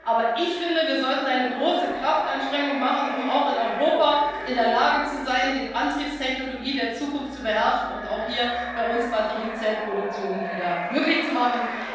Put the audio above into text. Aber ich finde, wir sollten eine große Kraftanstrengung machen, um auch in Europa in der Lage zu sein, die Antriebstechnologie der Zukunft zu beherrschen und auch hier bei uns die Batteriezellenproduktion wieder möglich zu machen.